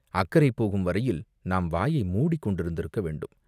அக்கரை போகும் வரையில் நாம் வாயை மூடிக்கொண்டிருந்திருக்க வேண்டும்.